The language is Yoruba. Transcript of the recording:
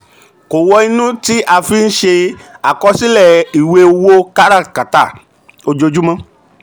kò um wọ inú tí a fi um ń ṣe um àkọsílẹ̀ ìwé owó káràkátà ojoojúmọ́.